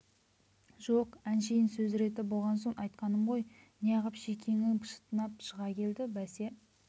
жоқ әншейін сөз реті болған соң айтқаным ғой неғып шекеңі шытынап шыға келді бәсе